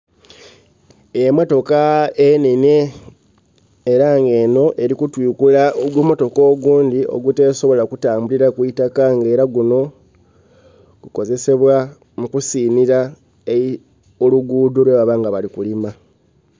Emotoka enhenhe, era nga enho erikutwikula ogumotoka ogundhi ogutesobola kutambulila ku itaka nga era gunho gukozesebwa mu kusinhira olugudho lwebaba nga bali kulima.